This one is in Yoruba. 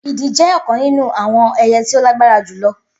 Idì jẹ́ ọ̀kan nínú àwọn ẹyẹ tí ó lágbára jù lọ